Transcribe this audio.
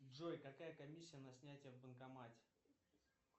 джой какая комиссия на снятие в банкомате